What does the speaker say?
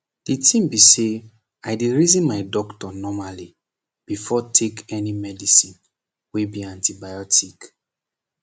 the tin be say i dey reason my doctor normally before take any medicine wey be antibiotic